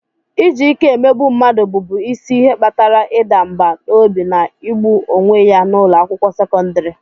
Iji ike emegbu mmadụ bụbu isi ihe kpatara ịda mbà n'obi na igbu onwe ya n'ụlọ akwụkwọ sekọndrị.